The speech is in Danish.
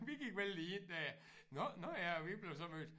Vi gik vel lige ind der nåh nåh ja og vi blev så mødt